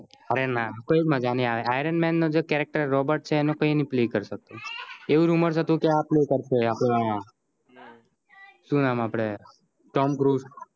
અરે ના કોઈ મજા ન્ંહિ આવે iron man નો charactersrobert છે ઇનો કોઈ play કરી સક્સે આવું rumors હતું કે આ play કરસે આપડો આ સુ નામ આપદે tom curse